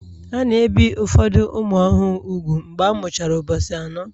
A na-ebi ụfọdụ ụmụ ọhụrụ úgwù mgbe a mụchara ụbọchị anọ